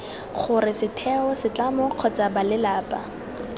gore setheo setlamo kgotsa balelapa